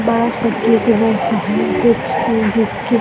बड़ा सा कैक है बिस्किट --